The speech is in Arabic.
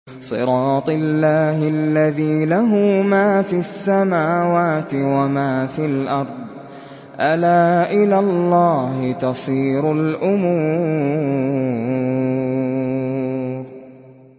صِرَاطِ اللَّهِ الَّذِي لَهُ مَا فِي السَّمَاوَاتِ وَمَا فِي الْأَرْضِ ۗ أَلَا إِلَى اللَّهِ تَصِيرُ الْأُمُورُ